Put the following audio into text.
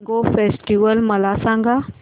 mango festival मला सांग